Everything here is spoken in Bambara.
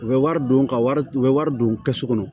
U bɛ wari don ka wari u bɛ wari don kɛsu kɔnɔ